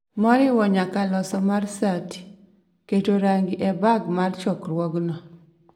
moriwo nyaka loso mar sati, keto rangi e beg mag chokruogno